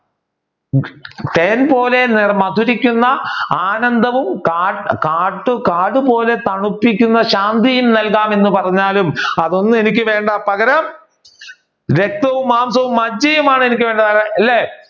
തേൻപോലെ മധുരിക്കുന്ന ആനന്ദവും കാട് കാടുപോലെ തണുപ്പിക്കുന്ന ശാന്തിയും നൽകാം എന്ന് പറഞ്ഞാലും അതൊന്നും എനിക്ക് വേണ്ട പകരം രക്തവും മാംസവും മജ്‌ജയുമാണ് എനിക്ക് വേണ്ടത് അല്ലെ